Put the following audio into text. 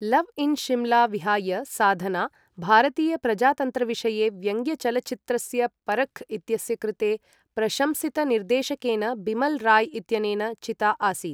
Love in Simla विहाय साधना, भारतीय प्रजातन्त्रविषये व्यङ्ग्यचलच्चित्रस्य परख् इत्यस्य कृते प्रशंसितनिर्देशकेन बिमल् राय् इत्यनेन चिता आसीत्।